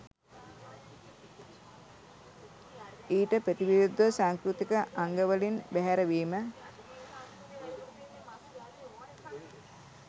ඊට ප්‍රතිවිරුද්ධ සංස්කෘතික අංගවලින් බැහැරවීම